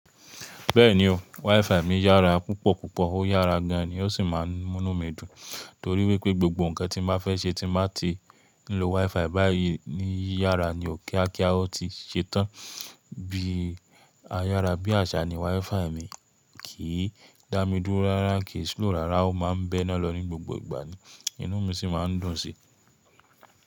Bẹ́ẹ̀ni o, WiFi mi yára púpọ̀ púpọ̀ ó yára gan an ni ó sì máa ń mú nu mí dùn torí wípé gbogbo ǹkan tí n baa fẹ́ ṣe tí n bàá ti lo WiFi báyìí ní yára ni ó kíákíá ó ti ṣe tán. Bí ayára, bí àṣà ni WiFi mi kìí dàmì dùro rárá, kì í slòw rárá, ó ma ń bẹ́ná lọ ní gbogbo ìgbà ni inú mi sì máa ń dùn sí i.